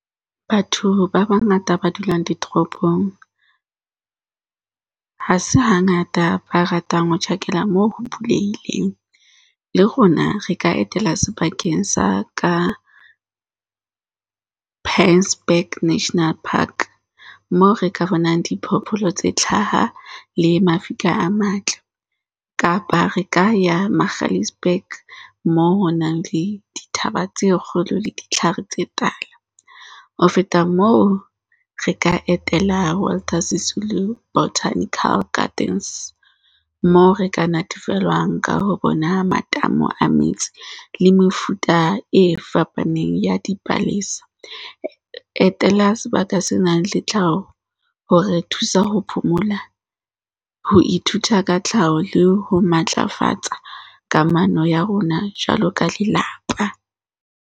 Batho ba bangata ba dulang ditoropong ha se hangata ba ratang ho tjhakela moo ho bulehileng. Le rona re ka etela sebakeng sa ka Prangs Back National Park. Moo re ka bonang diphoofolo tse hlaha le mafika a matle. Kapa re ka ya Magaliesburg moo ho nang le dithaba tse kgolo le ditlhare tse tala. Ho feta moo, re ka etela Walter Sisulu Botanical Gardens, moo re ka natefelwang ka ho bona matamo a metsi le mefuta e fapaneng ya dipalesa. Etela sebaka se nang le tlhaho hore thusa ho phomola, ho ithuta ka tlhaho le ho matlafatsa kamano ya rona jwalo ka lelapa.